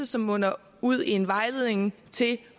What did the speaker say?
som munder ud i en vejledning til de